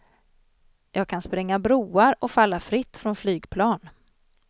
Jag kan spränga broar och falla fritt från flygplan.